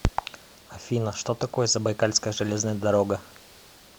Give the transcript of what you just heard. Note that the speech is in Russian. афина что такое забайкальская железная дорога